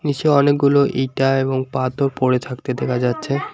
নীচে অনেকগুলো ইটা এবং পাথর পরে থাকতে দেখা যাচ্ছে।